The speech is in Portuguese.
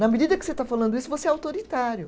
Na medida que você está falando isso, você é autoritário.